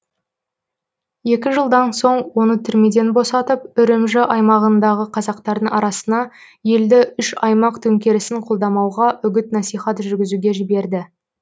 екі жылдан соң оны түрмеден босатып үрімжі аймағындағы қазақтардың арасына елді үш аймақ төңкерісін қолдамауға үгіт насихат жүргізуге жіберді